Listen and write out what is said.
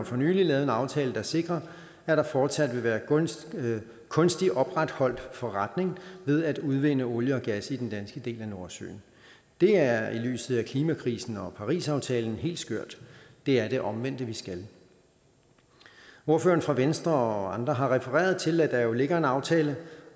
for nylig lavet en aftale der sikrer at der fortsat vil være en kunstigt opretholdt forretning ved at udvinde olie og gas i den danske del af nordsøen det er i lyset af klimakrisen og parisaftalen helt skørt det er det omvendte vi skal ordføreren for venstre og andre har refereret til at der ligger en aftale